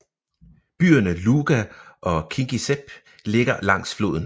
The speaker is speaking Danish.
Byerne Luga og Kingisepp ligger langs floden